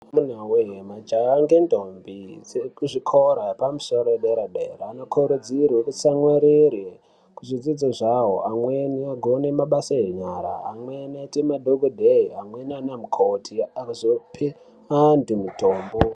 Amuna voye majaha ngendombi dziri kuzvikora yepamusoro yedera-dera vanokurudzirwe kutsamwirire kuzvidzidzo zvavo. Amweni anogone mabasa enyara, amweni anoite madhokodheya, amweni ndiana mukoti pakuzope antu mutombo.